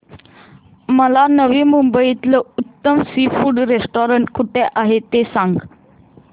मला नवी मुंबईतलं उत्तम सी फूड रेस्टोरंट कुठे आहे ते सांग